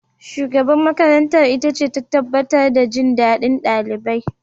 Shugaban makarantar itace ta tabbatar da jin daɗin ɗalibai.